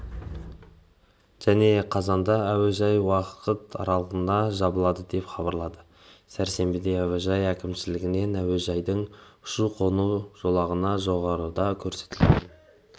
және қазанда әуежай уақыт аралығына жабылады деп хабарлады сәрсенбіде әуежай әкімшілігінен әуежайдың ұшу-қону жолағына жоғарыда көрсетілген